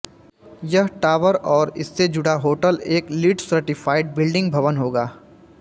यह टावर और इससे जुड़ा होटल एक लीडसर्टिफ़ाइड बिल्डिंग भवन होगा